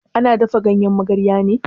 Ana dafa ganyen magarya ne?